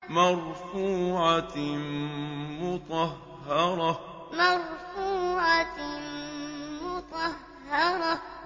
مَّرْفُوعَةٍ مُّطَهَّرَةٍ مَّرْفُوعَةٍ مُّطَهَّرَةٍ